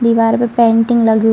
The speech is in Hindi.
दीवार पर पेंटिंग लगी हुई --